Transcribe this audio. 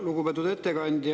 Lugupeetud ettekandja!